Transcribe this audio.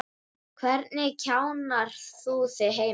Hvernig kjarnar þú þig heima?